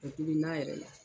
Bɔ tobi na yɛrɛ la